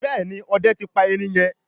Béèni Òde tí pa erin yen.